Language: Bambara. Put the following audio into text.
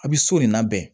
A bɛ so de labɛn